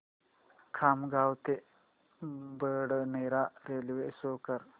खामगाव ते Badnera railway show कर